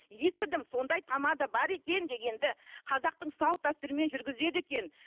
естідім сондай тамада бар екен дегенді қазақтың салт дәстүрімен жүргізеді екен